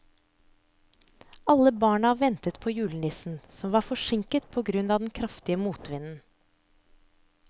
Alle barna ventet på julenissen, som var forsinket på grunn av den kraftige motvinden.